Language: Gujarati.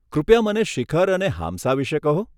કૃપયા મને શિખર અને હામ્સા વિષે કહો.